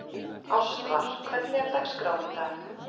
Ástvar, hvernig er dagskráin í dag?